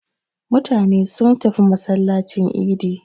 Mutane sun tafi masallacin idi.